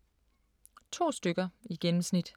To stykker i gennemsnit.